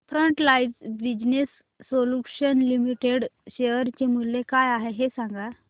frontline business solutions limited share चे मूल्य काय आहे हे सांगा